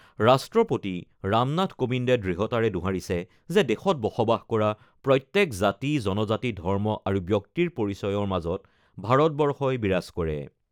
ৰাষ্ট্ৰপতি ৰামনাথ কোবিন্দে দৃঢ়তাৰে দোহাৰিছে যে দেশত বসবাস কৰা প্ৰত্যেক জাতি, জনজাতি, ধৰ্ম আৰু ব্যক্তিৰ পৰিচয়ৰ মাজত ভাৰতবৰ্ষই বিৰাজ কৰে।